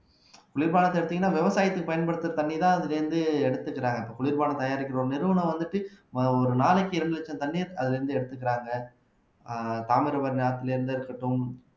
குளிர்பானத்த எடுத்தீங்கன்னா விவசாயத்துக்கு பயன்படுத்துற தண்ணி தான் அதுல இருந்து எடுத்துக்கிறாங்க குளிர்பானம் தயாரிக்கிற ஒரு நிறுவனம் வந்துட்டு ஒரு நாளைக்கு இரண்டு லட்சம் தண்ணீர் அதுல இருந்து எடுத்துக்குறாங்க ஆஹ் தாமிரபரணி ஆற்றிலிருந்து இருக்கட்டும்